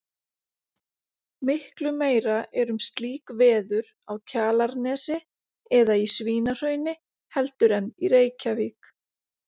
Miklu meira er um slík veður á Kjalarnesi eða í Svínahrauni heldur en í Reykjavík.